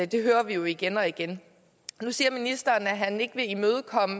det hører vi jo igen og igen og nu siger ministeren at han ikke vil imødekomme